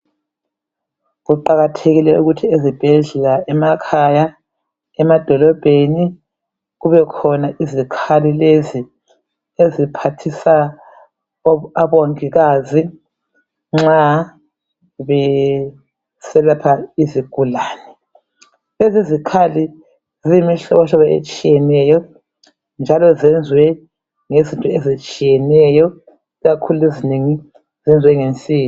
Kuqakathekile ukuthi ezibhedlela emakhaya emadolobheni kube khona izikhali lezi, eziphathisa obongikazi nxa beselapha izigulane Lezi izikhali ziyimihlobohlobo etshiyeneyo njalo zenziwe ngezinto ezitshiyeneyo ikakhulu ezinengi ezinje ngensimbi.